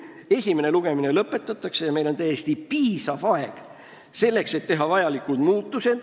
Pärast esimese lugemise lõpetamist on meil täiesti piisavalt aega selleks, et teha vajalikud muudatused.